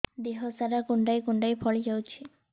ଦେହ ସାରା କୁଣ୍ଡାଇ କୁଣ୍ଡାଇ ଫଳି ଯାଉଛି